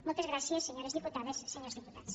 moltes gràcies senyores diputades senyors diputats